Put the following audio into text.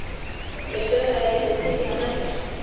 Þeir sögðu að ég gæti ekki tekið það með mér.